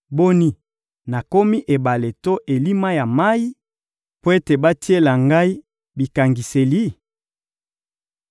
Boni, nakomi ebale to elima ya mayi mpo ete batiela ngai bikangiseli?